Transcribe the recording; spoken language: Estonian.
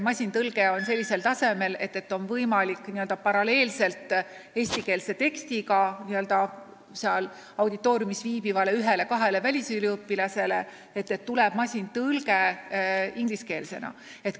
Masintõlge on sellisel tasemel, et auditooriumis viibivale ühele-kahele välisüliõpilasele on võimalik paralleelselt eestikeelse tekstiga tagada masintõlge inglise keelde.